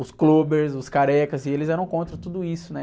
Os clubbers, os carecas, e eles eram contra tudo isso, né?